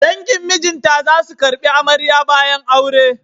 Dangin mijinta za su ƙarbi amarya bayan aure.